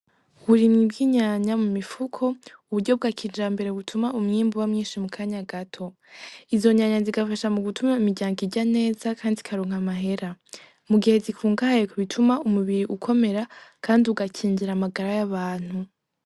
Uburimyi bw'inyanya mumifuko nuburyo bwa kijambere butuma umwimbu uba mwinshi mukanya gato izo nyanya zigafasha gutuma imiryango irya neza kandi ikaronka amahera mu gihe zikungahaye ku bituma umubiri ukomera kandi ugakingira amagara yabantu.